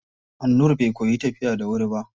Annur bai koyi tafiya da wuri ba.